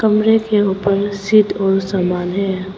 कमरे के ऊपर शीट और समान है।